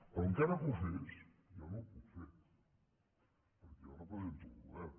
però encara que ho fes jo no ho puc fer perquè jo represento el govern